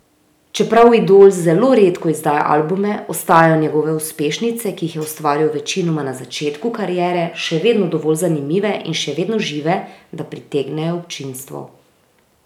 Čeprav Idol zelo redko izdaja albume ostajajo njegove uspešnice, ki jih je ustvaril večinoma na začetku kariere, še vedno dovolj zanimive in še vedno žive, da pritegnejo občinstvo.